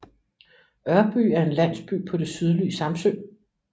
Ørby er en landsby på det sydlige Samsø